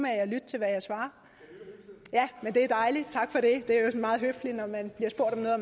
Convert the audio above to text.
at lytte til hvad jeg svarer ja men det er dejligt tak for det det er meget høfligt når man bliver spurgt om noget at